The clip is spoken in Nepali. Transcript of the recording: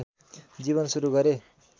जीवन सुरू गरे